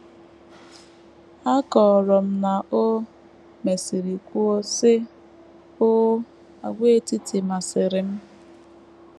A kọrọ na o mesịrị kwuo, sị: “ Oo, àgwàetiti masịrị m!